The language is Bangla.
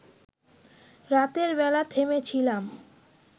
রাতের বেলা থেমেছিলাম